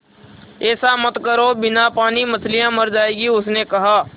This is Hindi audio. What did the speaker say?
ऐसा मत करो बिना पानी के मछलियाँ मर जाएँगी उसने कहा